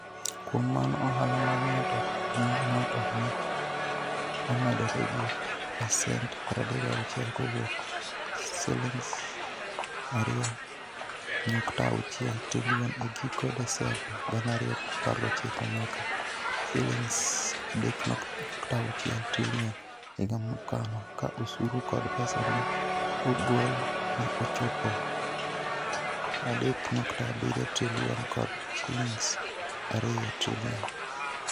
Kuom mano, ohala mag ng'ato ne ng'ato ne omedore gi pasent 36 kowuok Sh2.6 trilion e giko Desemba 2019 nyaka Sh3.6 trilion higa mokalo, ka osuru kod pesa ma ne ogol ne ochopo Sh3.7 trilion kod Sh2 trilion.